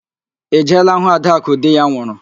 Ị jeela hụụ ạdakụ di ya nwụrụ?